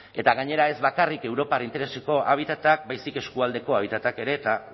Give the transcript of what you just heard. eta gainera ez bakarrik europar intereseko habitatak baizik eskualdeko habitatak ere eta